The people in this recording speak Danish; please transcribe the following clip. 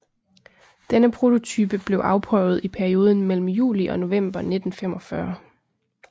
Denne prototype blev afprøvet i perioden mellem juli og november 1945